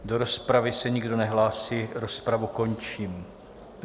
Do rozpravy se nikdo nehlásí, rozpravu končím.